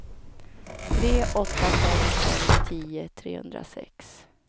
tre åtta fem fem tio trehundrasex